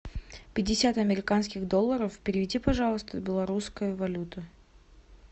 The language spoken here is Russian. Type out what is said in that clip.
пятьдесят американских долларов переведи пожалуйста в белорусскую валюту